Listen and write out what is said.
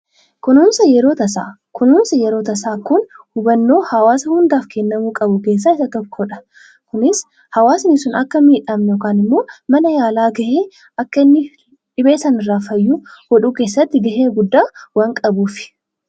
Kunuunsa yeroo tasaa: kunuunsi yeroo tasaa kun hubannoo hawaasa hundaaf kennamuu qabu keessaa isa tokkodha. Kunis hawaasnii sun akka hin miidhamne yookan immoo mana yaalaa ga'ee akka inni dhibee sana irraa fayyuu godhuu keessatti ga'ee guddaa waan qabuufi.